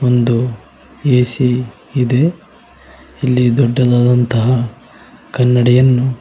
ಒಂದು ಎ_ಸಿ ಇದೆ ಇಲ್ಲಿ ದೊಡ್ಡದಾದಂತಹ ಕನ್ನಡಿಯನ್ನು--